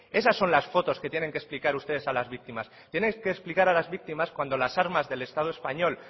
esas son las fotos que tienen que explicar ustedes a las víctimas tenéis que explicar a las víctimas cuando las armas del estado español